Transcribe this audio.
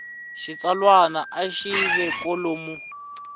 xitsalwana a yi ve kwalomu